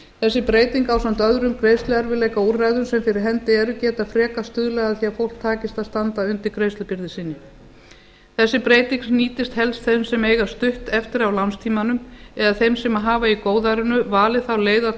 þessi breyting ásamt öðrum greiðsluerfiðleikaúrræðum sem fyrir hendi eru geta frekar stuðlað að því að fólki takist að standa undir greiðslubyrði sinni þessi breyting nýtist helst þeim sem eiga stutt eftir af lánstímanum eða þeim sem hafa í góðærinu valið þá leið að